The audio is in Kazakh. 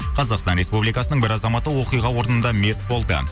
қазақстан республикасының бір азаматы оқиға орнында мерт болды